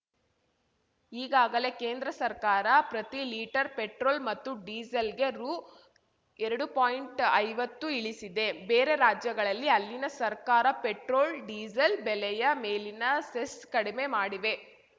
ಈಗಾಗಲೆ ಕೇಂದ್ರ ಸರ್ಕಾರ ಪ್ರತಿ ಲೀಟರ್‌ ಪೆಟ್ರೋಲ್‌ ಮತ್ತು ಡಿಸೇಲ್‌ಗೆ ರು ಎರಡು ಪಾಯಿಂಟ್ಐವತ್ತು ಇಳಿಸಿದೆ ಬೇರೆ ರಾಜ್ಯಗಳಲ್ಲಿ ಅಲ್ಲಿನ ಸರ್ಕಾರ ಪೆಟ್ರೋಲ್‌ ಡಿಸೇಲ್‌ ಬೆಲೆಯ ಮೇಲಿನ ಸೆಸ್‌ ಕಡಿಮೆ ಮಾಡಿವೆ